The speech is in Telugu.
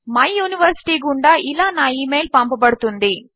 మై యూనివర్సిటీ గుండా ఇలా నా ఇమెయిల్ పంపబడుతుంది